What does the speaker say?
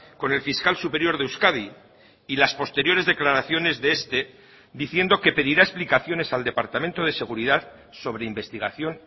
con el fiscal superior de euskadi y las posteriores declaraciones de este diciendo que pedirá explicaciones al departamento de seguridad sobre investigación